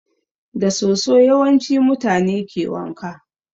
Da soso yawanci mutane ke wanka